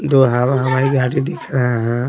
दो हवा हवाई गाड़ी दिख रहा है।